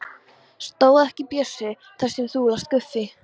Stóð ekki Bjössi þar sem þú last Guffi?